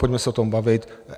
Pojďme se o tom bavit.